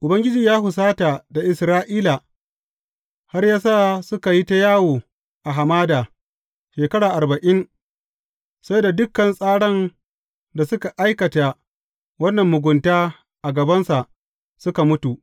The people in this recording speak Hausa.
Ubangiji ya husata da Isra’ila har ya sa suka yi ta yawo a hamada shekara arba’in, sai da dukan tsaran da suka aikata wannan mugunta a gabansa, suka mutu.